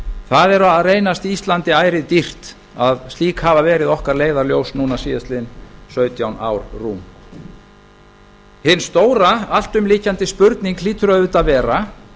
það er að reynast íslandi ærið dýrt að slík hafa verið okkar leiðarljós núna síðastliðinn sautján ár rúm hin stóra alltumlykjandi spurning hlýtur auðvitað að vera